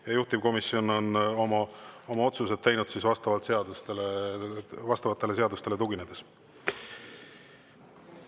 Ja juhtivkomisjon on oma otsused teinud vastavatele seadustele tuginedes.